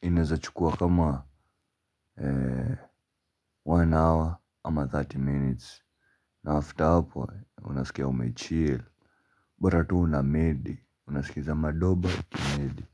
inaeza chukua kama One hour ama thelathini minutes. Na after hapo, unasikia umechil bora tuu unamedi, unasikiza madoba ukimedi.